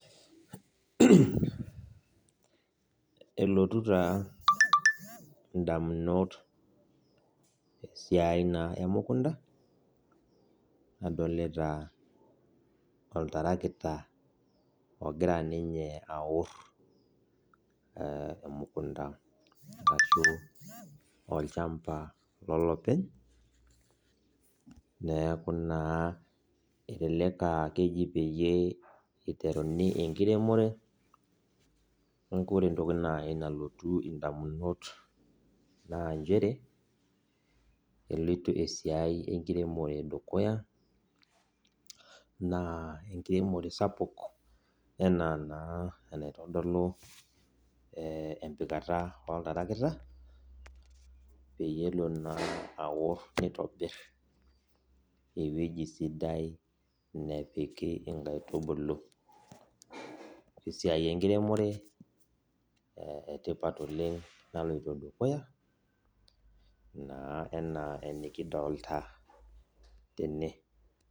Elotu taa ndamunot esiai na emukunda nadolta oltarakita ogira ninye aor emukunda arashu olchamba lolopeny neaku na elelek aa keji peyie iteruni enkiremore neaku ore entoki nalotu ndamunot na nchere eloito esiai eramatare dukuya na enkiremore sapuk anaa naa anaitodolubempikata oltarakita pelo na aor nitobir ewueji sidai napiki nkaitubulu esiai enkiremore etipat na naloto dukuya ana enikidolta tene.